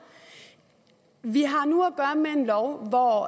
vi har nu at gøre med en lov hvor